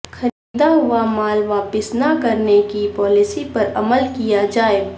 خریدا ہوامال واپس نہ کرنے کی پالیسی پر عمل کیا جائے